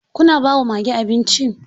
Kuna ba wa mage abinci?